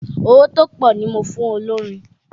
Owó tó pọ̀ ni mo fún olórin